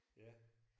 Ja